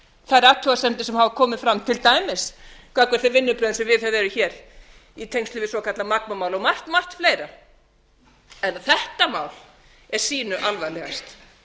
þær athugasemdir sem hafa komið fram til dæmis gagnvart þeim vinnubrögðum sem viðhöfð eru hér í tengslum við svokallað magma mál og margt margt fleira en þetta mál er sýnu alvarlegast